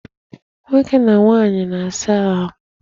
Nwoke na nwaanyị na-asa ahu.